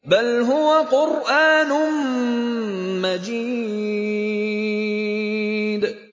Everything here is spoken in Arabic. بَلْ هُوَ قُرْآنٌ مَّجِيدٌ